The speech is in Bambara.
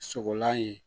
Sɔgɔlan ye